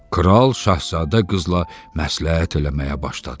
Kral şahzadə qızla məsləhət eləməyə başladı.